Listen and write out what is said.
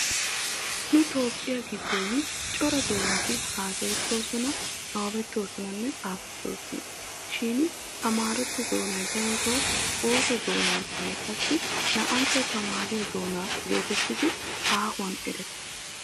Nu Toophphiya giddon cora doonati haasayettoosona nabbabettoosonanne xaafettoosona. Shin amaaratto doonay daroto ooso doonadaaninne qassi naa"antto tamaariyo doona geetettidi aahuwan erettees.